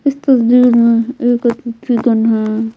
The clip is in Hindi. इस तस्वीर में एक चिकन है।